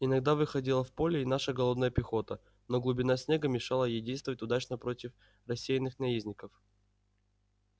иногда выходила в поле и наша голодная пехота но глубина снега мешала ей действовать удачно против рассеянных наездников